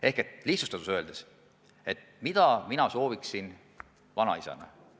Ehk lihtsustatult öeldes: mida mina sooviksin vanaisana?